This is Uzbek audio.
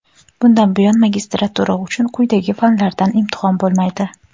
Bundan buyon magistratura uchun quyidagi fanlardan imtihon bo‘lmaydi:.